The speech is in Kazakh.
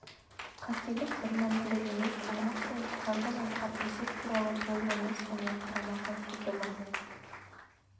қателік бірмәнділік емес аймақ пен шығарылып жатқан есеп туралы толық емес және қарама қайшы білім